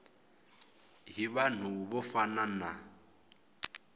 hi vanhu vo fana na